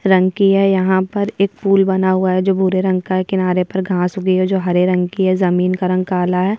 रंग की है यहाँ पर एक फूल बना हुआ है जो भूरे रंग का है किनारे पर घास उगी है जो हरे रंग की है जमीन का रंग काला है।